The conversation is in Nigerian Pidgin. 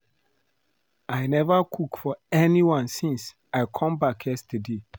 I never cook for anyone since I came back yesterday